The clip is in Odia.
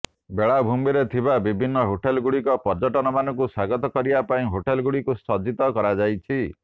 ବେଳାଭୂମିରେ ଥିବା ବିଭିନ୍ନ ହୋଟେଲଗୁଡ଼ିକ ପର୍ଯ୍ୟଟକମାନଙ୍କୁ ସ୍ୱାଗତ କରିବା ପାଇଁ ହୋଟେଲଗୁଡ଼ିକୁ ସଜ୍ଜିତ କରାଯାଉଛି